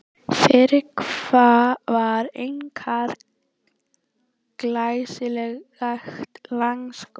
Það fyrra var einkar glæsilegt langskot.